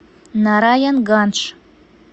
нараянгандж